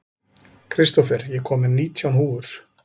Kristófer, ég kom með nítján húfur!